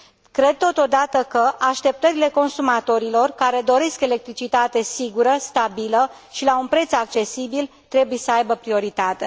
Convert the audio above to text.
Cred, totodată, că așteptările consumatorilor care doresc electricitate sigură, stabilă și la un preț accesibil trebuie să aibă prioritate.